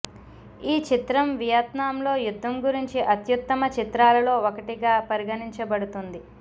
ఈ చిత్రం వియత్నాంలో యుద్ధం గురించి అత్యుత్తమ చిత్రాలలో ఒకటిగా పరిగణించబడుతుంది